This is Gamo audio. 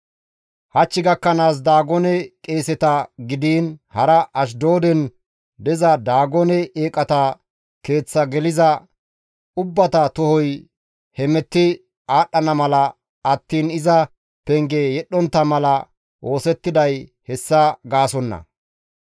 Hach gakkanaas Daagone qeeseta gidiin hara Ashdooden diza Daagone eeqata keeththa geliza ubbata tohoy hemetti aadhdhana mala attiin iza penge yedhdhontta mala oosettiday hessa gaasonna.